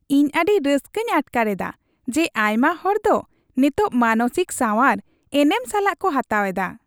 ᱤᱧ ᱟᱹᱰᱤ ᱨᱟᱹᱥᱠᱟᱹᱧ ᱟᱴᱠᱟᱨ ᱮᱫᱟ ᱡᱮ ᱟᱭᱢᱟ ᱦᱚᱲ ᱫᱚ ᱱᱮᱛᱚᱜ ᱢᱟᱱᱚᱥᱤᱠ ᱥᱟᱶᱟᱨ, ᱮᱱᱮᱢ ᱥᱟᱞᱟᱜ ᱠᱚ ᱦᱟᱛᱟᱣ ᱮᱫᱟ ᱾